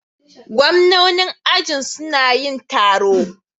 Gwamnanin ajin suna yin taro.